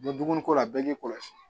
Bɔ dumuniko la bɛɛ k'i kɔlɔsi